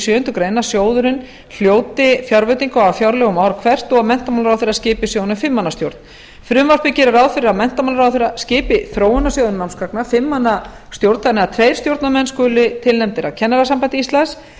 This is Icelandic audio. sjöundu grein að sjóðurinn hljóti fjárveitingu á fjárlögum ár hvert og menntamálaráðherra skipi sjóðnum fimm manna stjórn frumvarpið gerir ráð fyrir að menntamálaráðherra skipi þróunarsjóði námsgagna fimm manna stjórn þannig að tveir stjórnarmenn skuli tilnefndir af kennarasambandi íslands